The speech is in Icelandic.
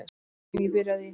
Uppbyggingin byrjaði í